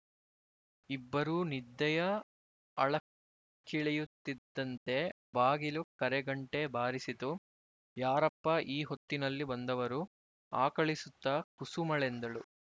ಇಬ್ಬರೂ ನಿದ್ದೆಯ ಆಳಕ್ಕಿಳಿಯುತ್ತಿದ್ದಂತೆ ಬಾಗಿಲು ಕರೆಗಂಟೆ ಬಾರಿಸಿತು ಯಾರಪ್ಪಾ ಈ ಹೊತ್ತಿನಲ್ಲಿ ಬಂದವರು ಆಕಳಿಸುತ್ತಾ ಕುಸುಮಳೆಂದಳು